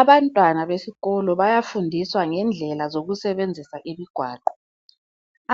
Abantwana besikolo bayafundiswa ngendlela zokusebenzisa imigwaqo.